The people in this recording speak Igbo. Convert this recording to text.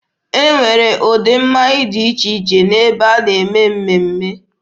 A na-enwe ụdị mmanya dị iche iche n'ebe a na-eme mmemme.